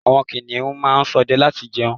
Àwọn kìnìún máa ń sọdẹ láti jẹun